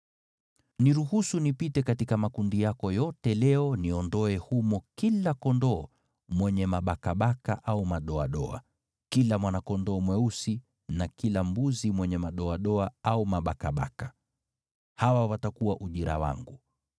Niruhusu nipite katika makundi yako yote leo niondoe humo kila kondoo mwenye mabakabaka au madoadoa, kila mwana-kondoo mweusi na kila mbuzi mwenye madoadoa au mabakabaka. Hawa watakuwa ujira wangu.